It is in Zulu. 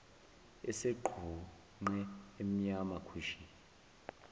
esegqunqe emnyama khwishi